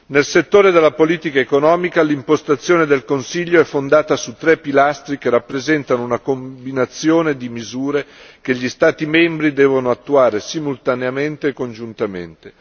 Nel settore della politica economica, l'impostazione del Consiglio è fondata su tre pilastri che rappresentano una combinazione di misure che gli Stati membri devono attuare simultaneamente e congiuntamente.